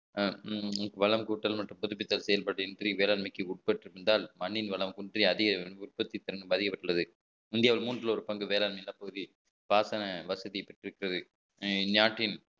அஹ் வளம் கூட்டல் மற்றும் புதுப்பித்தல் செயல்பாட்டையும் வேளாண்மைக்கு உட்பட்டிருந்தால் மண்ணின் வளம் குன்றி அதிக பாதிக்கப்பட்டுள்ளது இந்தியாவில் மூன்றில் ஒரு பங்கு வேளாண் நிலப்பகுதி பாசன வசதியை பெற்றிருக்கிறது நாட்டின்